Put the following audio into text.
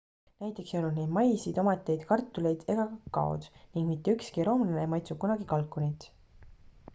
näiteks ei olnud neil maisi tomateid kartuleid ega kakaod ning mitte ükski roomlane ei maitsnud kunagi kalkunit